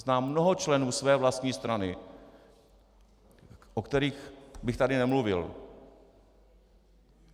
Znám mnoho členů své vlastní strany, o kterých bych tady nemluvil.